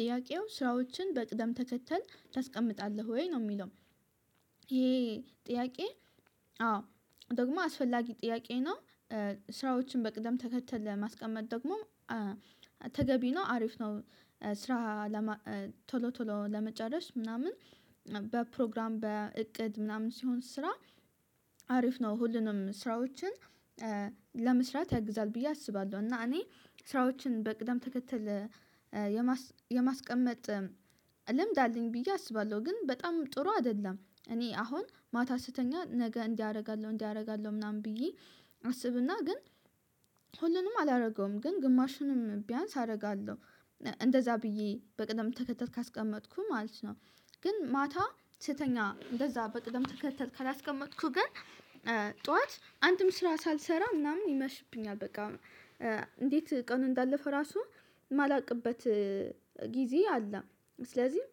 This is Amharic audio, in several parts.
ጥያቄው ስራዎችን በቅደም ተከተል ታስቀምጣለህ ወይ ነው የሚለው? ይሄ ጥያቄ አዎ ደግሞ አስፈላጊ ጥያቄ ነው። ስራዎችን በቅደም ተከተል ማስቀመጥ ደግሞ ተገቢ ነው አሪፍ ነው። ስራ ቶሎ ቶሎ ለመጨረስ ምናምን በፕሮግራም በእቅድ ምናምን ሲሆን ስራ አሪፍ ነው ሁሉንም ስራዎችን ለመስራት ያግዛል ብዬ አስባለሁ። እና እኔ ስራዎችን በቅደም ተከተል የማስቀመጥ ልምድ አለኝ ብዬ አስባለሁ ግን በጣም ጥሩ አይደለም። እኔ አሁን ማታ ስትተኛ ነገ እንዲህ አደርጋለሁ እንዲህ አደርጋለሁ ምናምን ብዬ አስብና ግን ሁሉንም አላደርገውም ግን ግማሹንም ቢያንስ አደርጋለሁ እንደዛ ብዬ በቅደም ተከተት ካስቀመጥኩህ ማለት ነው። ግን ማታ ስተኛ እንደዛ በቅደም ተከተት ካላስቀመጥኩ ግን ጠዋት አንድም ስራ ሳልሰራ ምናምን ይመሽብኛል በቃ እንዴት ቀኑ እንዳለፈ ራሱ የማላውቅበት ጊዜ አለ። ስለዚህ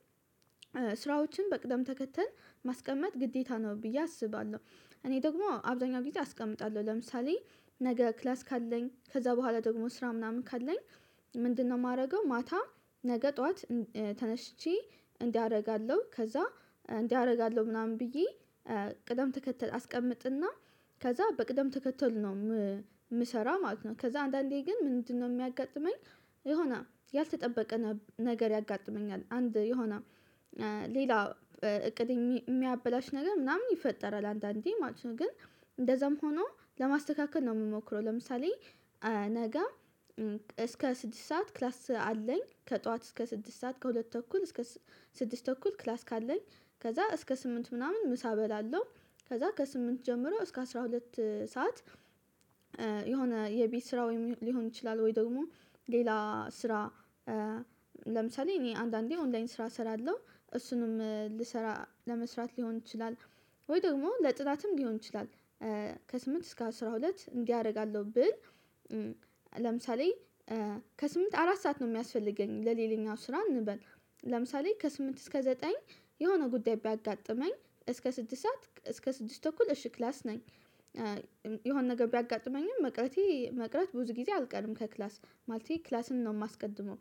ስራዎችን በቅደም ተከተል ማስቀመጥ ግዴታ ነው ብዬ አስባለሁ። እኔ ደግሞ አብዛኛው ጊዜ አስቀምጣለሁ ለምሳሌ ነገ ክላስ ካለኝ ከዛ በኋላ ደግሞ ስራ ምናምን ካለኝ ምንድነው? የማደርገው ማታ ነገ ጠዋት ተነስቼ እንዲህ አደርጋለሁ ከዛ እንዲህ አደርጋለሁ ምናምን ብዬ ቅደም ተከተል አስቀምጥና ከዛ በቅደም ተከተል ነው የምሰራው ማለት ነው። ከዛ አንዳንዴ ግን ምንድነው የሚያጋጥመኝ? የሆነ ያልተጠበቀ ነገር ያጋጥመኛል አንድ የሆነ ሌላ እቅድ የሚያበላሽ ነገር ምናምን ይፈጠራል አንዳንዴ ማለት ነው። ግን እንደዛም ሆኖ ለማስተካከል ነው የምሞክረው ለምሳሌ ነገ እስከ ስድስት ሰዓት ክላስ አለኝ ከጠዋት እስከ ስድስት ሰዓት ከሁለት ተኩል እስከ ስድስት ተኩል ክላስ ካለኝ ከዛ እስከ ስምንት ምናምን ምሳ በላለው ከዛ ከስምንት ጀምሮ እስከ አስራ ሁለት ሰዓት የሆነ የቤት ስራ ሊሆን ይችላል። ወይ ደግሞ ሌላ ስራ ለምሳሌ እኔ አንዳንዴ ኦንላይን ስራ እሰራለሁ እሱንም ልሰራ ለመስራት ሊሆን ይችላል። ወይ ደግሞ ለጥናትም ሊሆን ይችላል። ከስምንት እስከ አስራ ሁለት እንዲህ አደርጋለሁ ብል ለምሳሌ ከስምንት አራት ሰዓት ነው የሚያስፈልገኝ ለሌለኛው ስራ እንበል ለምሳሌ ከስምንት እስከ ዘጠኝ የሆነ ጉዳይ ቢያጋጥመኝ እስከ ስድስት እስከ ስድስት ተኩል እሺ ክላስ ነኝ። የሆነ ነገር ቢያጋጥመኝም መቅረቴ መቅረት ብዙ ጊዜ አልቀርም ከክላስ ማለቴ ክላስን ነው የማስቀድመው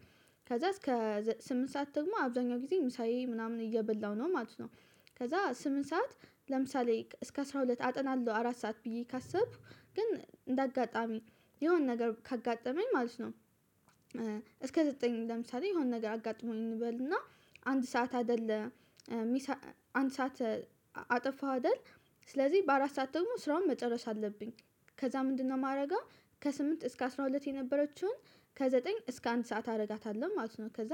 ከዛ እስከ ስምንት ሰዓት ደግሞ አብዛኛው ጊዜ ምሳዬ ምናምን እየበላው ነው ማለት ነው። ከዛ ስምንት ሰዓት ለምሳሌ እስከ አስራ ሁለት አጥናለሁ አራት ሰዓት ብዬ ካሰብኩ ግን እንደ አጋጣሚ የሆነ ነገር ካጋጠመኝ ማለት ነው። እስከ ዘጠኝ ለምሳሌ የሆነ ነገር አጋጥሞኝ እንበልና አንድ ሰዓት አይደለም ሰዓት አጠፋው አይደል? ስለዚህ በአራት ሰዓት ደግሞ ስራውን መጨረስ አለብኝ። ከዛ ምንድነው የማደርገው? ከስምንት እስከ አስራ ሁለት የነበረችውን ከዘጠኝ እስከ አንድ ሰዓት አደርጋታለሁ ማለት ነው። ከዛ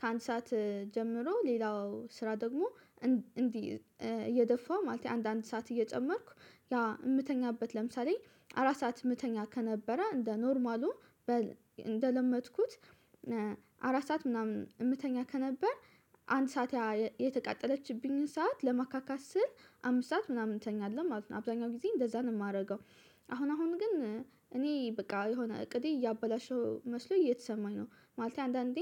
ከአንድ ሰዓት ጀምሮ ሌላው ስራ ደግሞ እንዲህ እየደፋ ማለት ነው። አንዳንድ ሰዓት እየጨመርኩ ያ የምተኛበት ለምሳሌ አራት ሰዓት የምተኛ ከነበረ እንደ ኖርማሉ እንደለመጥኩት አራት ሰዓት ምናምን የምተኛ ከነበር አንድ ሰዓት የተቃጠለችብኝን ሰዓት ለማካካስ ስል አምስት ሰዓት ምናምን እንተኛለን ማለት ነው አብዛኛው ጊዜ እንደዛ ነው የማደርገው። አሁን አሁን ግን እኔ በቃ የሆነ እቅዴ እያበላሸው መስሎ እየተሰማኝ ነው ማለት አንዳንዴ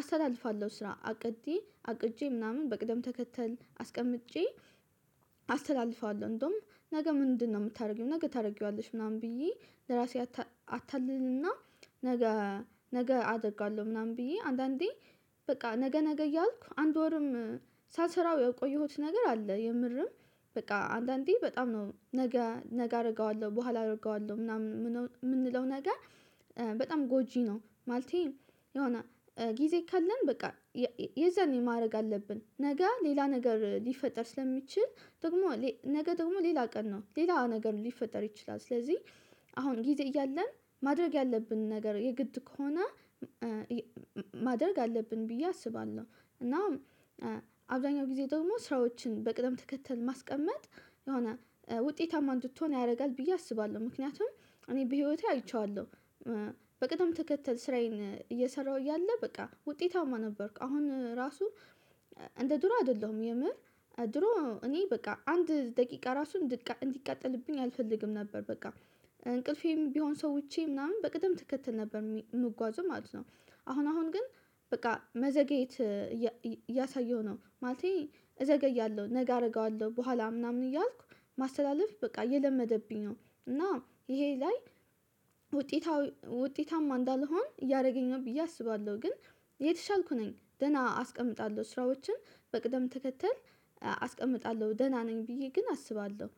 አስተላልፋለሁ ስራ አቅዴ አቅጄ ምናምን በቅደም ተከተል አስቀምጬ አስተላልፋለሁ። እንደውም ነገ ምንድነው የምታደርጊው? ነገ ታደርጊዋለሽ ምናምን ብዬ ለራሴ አታልልና ነገ አደጋለሁ ምናምን ብዬ አንዳንዴ በቃ ነገ ነገ እያልኩ አንድ ወርም ሳስራው የቆየሁት ነገር አለ የምርም በቃ አንዳንዴ በጣም ነው ነገ ነገ አደርገዋለሁ በኋላ አደርገዋለሁ ምናምን የምንለው ነገር በጣም ጎጂ ነው። ማለቴ የሆነ ጊዜ ካለን በቃ የዛን ማድረግ አለብን ነገ ሌላ ነገር ሊፈጠር ስለሚችል ደግሞ ነገ ደግሞ ሌላ ቀን ነው ሌላ ነገር ሊፈጠር ይችላል። ስለዚህ አሁን ጊዜ እያለን ማድረግ ያለብን ነገር የግድ ከሆነ ማደርግ አለብን ብዬ አስባለሁ። እና አብዛኛው ጊዜ ደግሞ ስራዎችን በቅደም ተከተል ማስቀመጥ የሆነ ውጤታማ እንድትሆን ያደርጋል ብዬ አስባለሁ። ምክንያቱም እኔ በህይወቴ አይቼዋለሁ በቅድም ተከተል ስራዬን እየሰራሁ እያለ በቃ ውጤታማ ነበርኩ አሁን ራሱ እንደ ድሮ አይደለሁም። የምህር ድሮ እኔ በቃ አንድ ደቂቃ ራሱን እንዲቃጠልብኝ አልፈልግም ነበር በቃ እንቅልፌም ቢሆን ሰውቸ ምናምን በቅደም ትከተል ነበር የምጓዙ ማለት ነው። አሁን አሁን ግን በቃ መዘግየት እያሳየሁ ነው ማለቴ እዘገያለሁ ነገ አደርገዋለሁ በኋላ ምናምን እያልኩ ማስተላለፍ በቃ የለመደብኝ ነው። እና ይሄ ላይ ውጤታዊ ውጤታማ እንዳልሆን እያደረገኝ ነው ብዬ አስባለሁ። ግን የተሻልኩ ነኝ ደህና አስቀምጣለሁ ስራዎችን በቅደም ተከተል አስቀምጣለሁ ደህና ነኝ። ብዬ ግን አስባለሁ